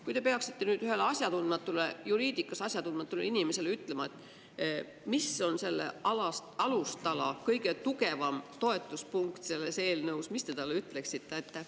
Kui te peaksite nüüd ühele asjatundmatule, juriidikas asjatundmatule inimesele ütlema, mis on selle alustala kõige tugevam toetuspunkt selles eelnõus, mis te talle ütleksite?